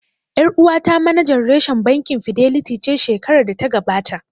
Ƴar uwata manajan reshen bankin Fidelity ce shekarar da ta gabata